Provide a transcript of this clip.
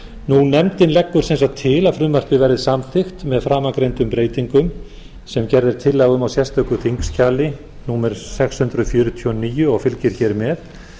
nefndin leggur sem sagt til að frumvarpið verði samþykkt með framangreindum breytingum sem gerð er tillaga um á sérstöku þingskjali númer sex hundruð fjörutíu og níu og fylgir hér með